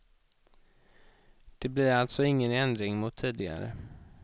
Det blir alltså ingen ändring mot tidigare.